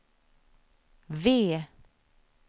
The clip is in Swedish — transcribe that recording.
V